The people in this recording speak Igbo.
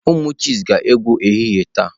Ụmụ chess ga-egwu ehihie taa.